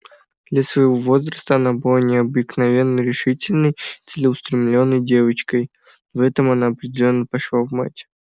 для своего возраста она была необыкновенно решительной и целеустремлённой девочкой в этом она определённо пошла в мать